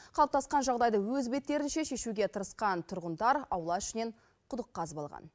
қалыптасқан жағдайды өз беттерінше шешуге тырысқан тұрғындар аула ішінен құдық қазып алған